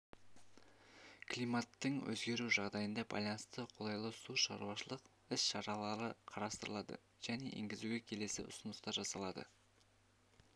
климаттың өзгеру жағдайына байланысты қолайлы су шаруашылық іс шаралары қарастырылды және енгізуге келесі ұсыныстар жасалды